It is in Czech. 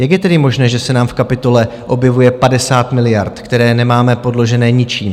Jak je tedy možné, že se nám v kapitole objevuje 50 miliard, které nemáme podložené ničím?